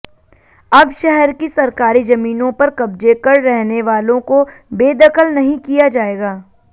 अब शहर की सरकारी जमीनों पर कब्जे कर रहने वालों को बेदखल नहीं किया जाएगा